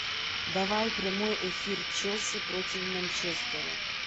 давай прямой эфир челси против манчестера